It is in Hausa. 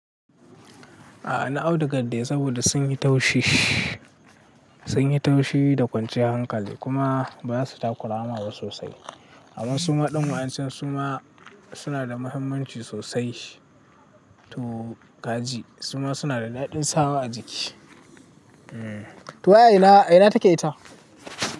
A'a na audugar da yai saboda sun yi taushi, sun yi taushi da kwanciyar hankali kuma ba su takura ma sosai. Amma suma ɗan wayancan suma suna da muhimmanci sosai to kaji suma suna da daɗin sawa a jiki. To waye ina, ina take ita?